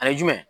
Ani jumɛn